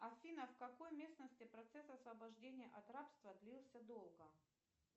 афина в какой местности процесс освобождения от рабства длился долго